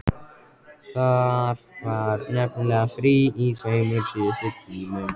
Það var nefnilega frí í tveimur síðustu tímunum.